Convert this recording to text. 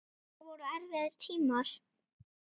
Þetta voru erfiðir tímar.